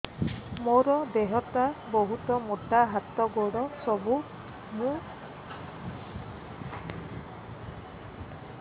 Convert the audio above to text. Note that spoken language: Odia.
ମୋର ଦେହ ଟା ବହୁତ ମୋଟା ହାତ ଗୋଡ଼ ସରୁ ମୁ ଆଶା ବାଡ଼ି ଧରି ଚାଲେ